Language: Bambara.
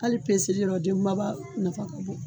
Ali peseli yɔrɔ den kumaba nafa kabon